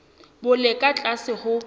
bo le ka tlase ho